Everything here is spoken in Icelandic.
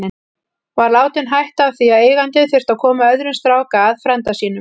Var látinn hætta af því að eigandinn þurfti að koma öðrum strák að, frænda sínum.